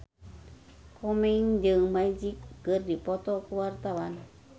Komeng jeung Magic keur dipoto ku wartawan